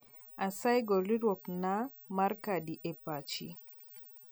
asayi gol leruok na mar kadi e pochi